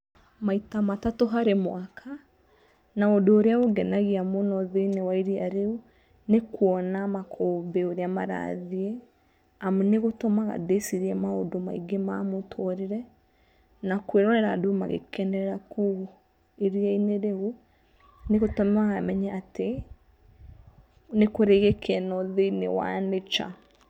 Maita matatũ harĩ mwaka. Na ũndũ ũrĩa ũngenagia mũno thĩ~inĩ wa iria rĩu nĩ kuona makumbĩ ũrĩa marathiĩ. Amu nĩ gũtũmaga ndĩcirie maũndũ maingĩ ma mũtũrĩre. Na kũĩrorera andũ magĩkenerera kũu iria~inĩ rĩu nĩ gũtũmaga menye atĩ nĩ kũrĩ gĩkeno thĩ~inĩ wa nature.